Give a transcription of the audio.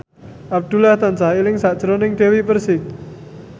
Abdullah tansah eling sakjroning Dewi Persik